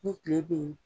Ni kile bɛ ye